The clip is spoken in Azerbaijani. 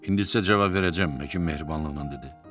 İndi isə cavab verəcəyəm, həkim mehribanlıqla dedi.